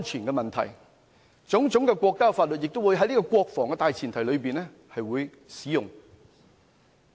國家的種種法律也會在國防的大前提上使用。